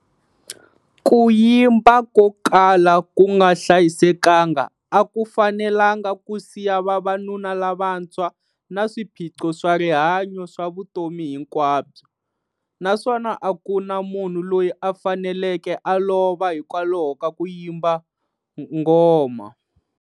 Ku yimba ko kala ku nga hlayisekanga a ku fanelanga ku siya vavanuna lavantshwa na swiphiqo swa rihanyo swa vutomi hinkwabyo, naswona a ku na munhu loyi a faneleke a lova hikwalaho ka ku yimba ngoma.